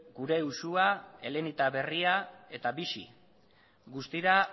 gure uxua elenita berria eta bixi guztira